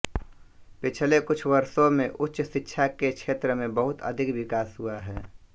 पिछले कुछ वर्षो में उच्च शिक्षा के क्षेत्र में बहुत अधिक विकास हुआ है